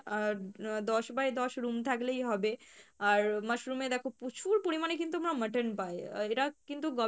আহ দশ by দশ room থাকলেই হবে, আর mushroom এ দেখো প্রচুর পরিমাণে কিন্তু আমরা mutton পাই আহ এটা কিন্তু